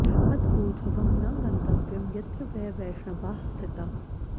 अत ऊर्ध्वं न गन्तव्यं यत्र वै वैष्णवाः स्थिताः